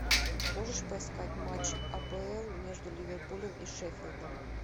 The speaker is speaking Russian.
можешь поискать матч апл между ливерпулем и шеффилдом